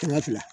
Kɛmɛ fila